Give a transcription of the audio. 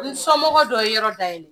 N somɔgɔw dɔ ye yɔrɔ dayɛlɛ